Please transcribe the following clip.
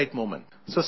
So stay calm